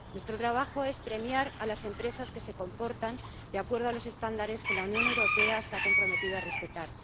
Nuestro trabajo es premiar a las empresas que se comportan de acuerdo con los estándares que la Unión Europea se ha comprometido a respetar.